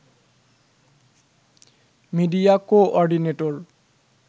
media coordinator